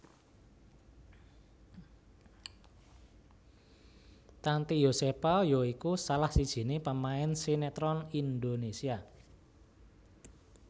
Tanty Yosepha ya iku salah sijiné pemain sinétron Indonésia